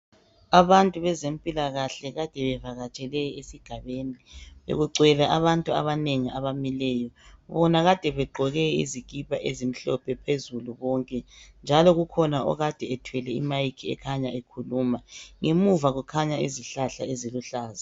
Abantu bezempilakahle kade bevatshele esigabeni. Bekugcwele abantu abanengi abamileyo. Bona kade begqoke izikipa ezimhlophe phezulu bonke. Njalo kukhona okade ethwele imic ekhanya ekhuluma. Ngemuva kukhanya izihlahla eziluhlaza.